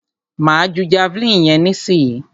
Máa ju javeline yẹn nísìyí.